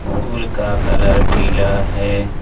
फूल का कलर पिला है।